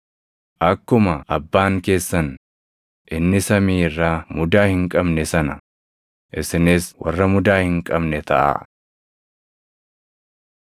Akkuma abbaan keessan inni samii irraa mudaa hin qabne sana, isinis warra mudaa hin qabne taʼaa.